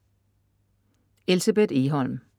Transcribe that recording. Elsebeth Egholm